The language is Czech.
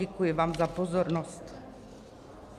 Děkuji vám za pozornost.